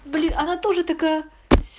блин она тоже такая